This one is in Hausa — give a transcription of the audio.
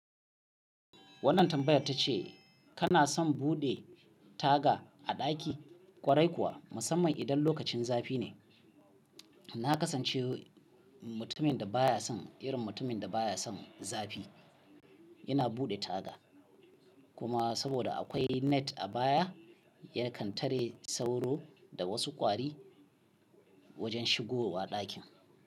Wannan tambayar ta ce kana son bude taga a daki kwarai kuwa musamman idan lokacin zafi ne. Na kasance mutumin da baya son irin mutumin da baya son zafi. Yana bude taga kuma saboda akwai net a baya yakan tare sauro da wasu kwari wajen shigowa dakin.